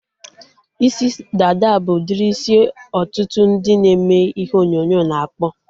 Isi dada bụ udiri isi ọtụtụ ndị na-eme ihe onyonyo na-akpụ